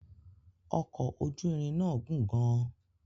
ọkọ̀ ojú irin náà gùn gan-an